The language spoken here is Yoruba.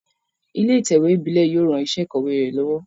Ilé ìtẹ̀wé ìbílé yio ran isé ìkòwé re lówó